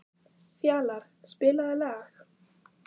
Fjalarr, spilaðu lag.